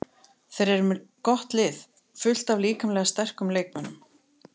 Þeir eru með gott lið, fullt af líkamlega sterkum leikmönnum.